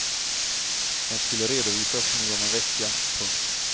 Den skulle redovisas nu om en vecka. punkt